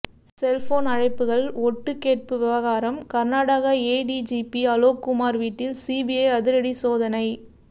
cellphone அழைப்புகள் ஒட்டு கேட்பு விவகாரம் கர்நாடகா ஏடிஜிபி அலோக்குமார் வீட்டில் சிபிஐ அதிரடி சோதனை